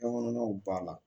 Kɔnɔnaw b'a la